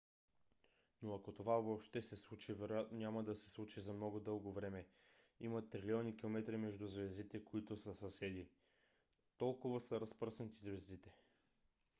но ако това въобще се случи вероятно няма да се случи за много дълго време. има трилиони километри между звездите които са съседи . толкова са разпръснати звездите